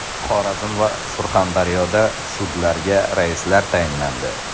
Xorazm va Surxondaryoda sudlarga raislar tayinlandi.